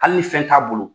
Hali ni fɛn t'a bolo